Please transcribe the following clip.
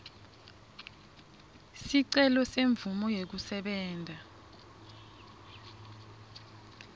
sicelo semvumo yekusebenta